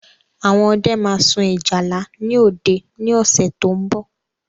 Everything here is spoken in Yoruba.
Àwọn ọdẹ ma sun ìjálá ni òde ni ọ̀sẹ̀ tó ń bọ̀